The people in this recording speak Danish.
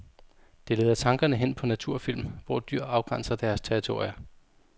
Det leder tankerne hen på naturfilm, hvor dyr afgrænser deres territorier.